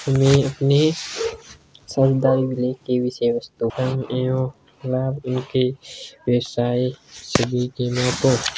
Image मे शरदंगली की विषय वस्तु है।